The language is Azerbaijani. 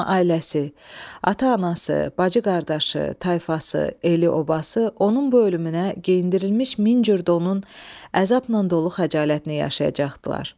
Amma ailəsi, ata-anası, bacı-qardaşı, tayfası, eli-obası, onun bu ölümünə geyindirilmiş min cür donun əzabla dolu xəcalətini yaşayacaqdılar.